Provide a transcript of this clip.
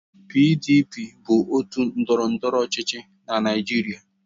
PDP bụ otu ndọrọndọrọ ọchịchị na Naịjirịa.